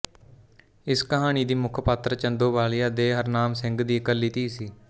ਇਸ ਕਹਾਣੀ ਦੀ ਮੁੱਖ ਪਾਤਰ ਚੰਦੋ ਬਾਲੀਆ ਦੇ ਹਰਨਾਮ ਸਿੰਘ ਦੀ ਇਕੱਲੀ ਧੀ ਸੀ